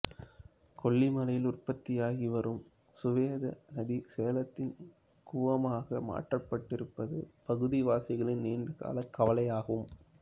கொல்லிமலையில் உற்பத்தியாகி வரும் சுவேத நதி சேலத்தின் கூவமாக மாற்றப்பட்டிருப்பது பகுதிவாசிகளின் நீண்ட கால கவலை ஆகும்